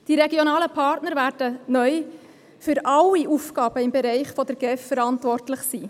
Die regionalen Partner werden neu für alle Aufgaben im Bereich der GEF verantwortlich sein.